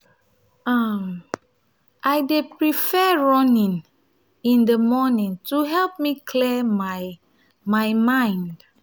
um i um dey prefer running um in the morning to help me clear my my mind.